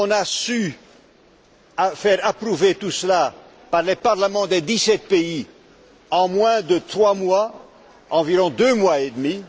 Nous avons réussi à faire approuver tout cela par les parlements des dix sept pays en moins de trois mois, environ deux mois et demi.